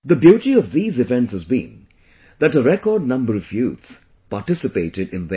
The beauty of these events has been that a record number of youth participated them